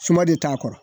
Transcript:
Suma de t'a kɔrɔ